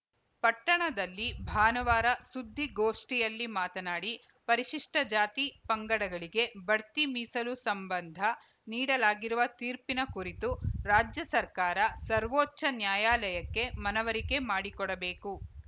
ಪಟ್ಟಣದಲ್ಲಿ ಭಾನುವಾರ ಸುದ್ದಿಗೋಷ್ಠಿಯಲ್ಲಿ ಮಾತನಾಡಿ ಪರಿಶಿಷ್ಟಜಾತಿಪಂಗಡಗಳಿಗೆ ಬಡ್ತಿ ಮೀಸಲು ಸಂಬಂಧ ನೀಡಲಾಗಿರುವ ತೀರ್ಪಿನ ಕುರಿತು ರಾಜ್ಯ ಸರ್ಕಾರ ಸರ್ವೋಚ್ಚ ನ್ಯಾಯಾಲಯಕ್ಕೆ ಮನವರಿಕೆ ಮಾಡಿಕೊಡಬೇಕು